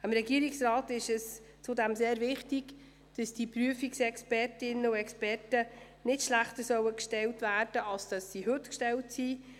Dem Regierungsrat ist wichtig, dass die Prüfungsexpertinnen und -experten nicht schlechter gestellt werden als sie es heute sind.